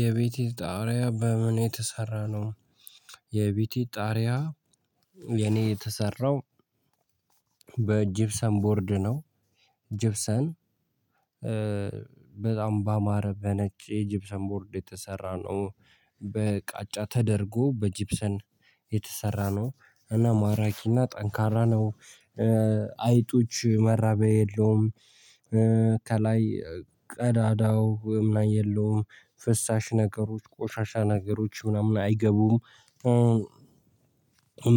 የቤትህ ጣሪያ በምን የተሰራ ነው? የቤቴ ጣሪያ የኔ የተሰራው በጅብሰን ቦርድ ነው። ጅብሰን በጣም ባማረ በነጭ የጅብሰን ቦርድ የተሰራ ነው። በቃጫ ተደርጎ በጅብሰን የተሰራ ነው። እና ማራኪ እና ጠንካራ ነው። አይጦች መራቢያ የለውም፣ ከላይ ቀዳዳ ምናምን የለውም፣ ፍሳሽ ነገሮች፣ ቆሻሻ ነገሮች ምናምን አይገቡም፣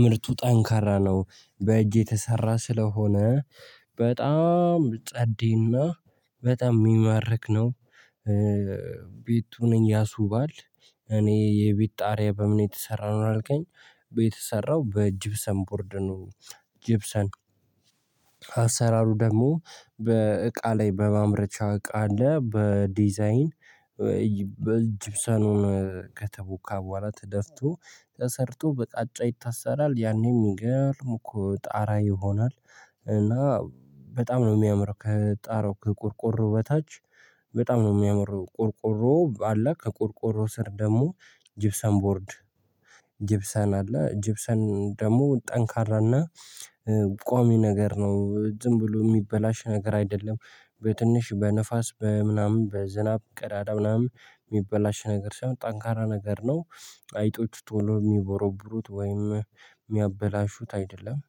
ምርቱ ጠንካራ ነው። በእጅ የተሰራ ስለሆነ በጣም ጸዴ እና በጣም የሚማርክ ነው። ቤቱንም ያስውባል። እኔ የቤት ጣሪያ በምን የተሰራ ነው አልገኝ? ቤቱ የተሰራው በጅብሰን ቡርድ ነው። ጅብሰን አሰራሩ ደግሞ በእቃ ላይ በማምረቻ እቃ አለ። በዲዛይን በጅብሰኑ ከተቦካ በኋላ ተደፍቶ ተሰርቶ በቃጫ ይታሰራል። ያኔ የሚገርም እኮ ጣራ ይሆናል። እና በጣም ነው የሚያምረው። ከጣራው ከቆርቆሮው በታች በጣም ነው የሚያምረው። ቆርቆሮው አለ ከቆርቆሮውሮ ስር ደግሞ ጅብሰን ቦርድ ጅብሰን አለ። ጅብሰን ደግሞ ጠንካራ እና ቋሚ ነገር ነው። ዝም ብሎ የሚበላሽ ነገር አይደለም። በትንሽ በንፋስ በምናምን በዝናብ ቀዳዳ ምናምን የሚበላሽ ነገር ሳይሆን ጠንካራ ነገር ነው። አይጦች ቶሎ የሚቦረብሩት ወይም የሚያበላሹት አይደለም።